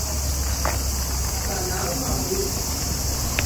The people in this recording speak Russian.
канал малыш